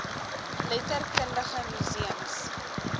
letter kundige museums